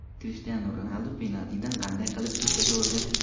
Krishtianu Ronaldu penaltini qanday qilib ko‘kka sovurdi?